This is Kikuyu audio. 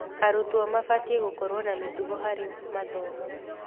Arutwo mabatiĩ gũkorwo na mĩtugo harĩ mathomo.